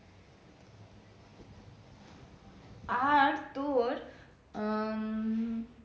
আর তোর উম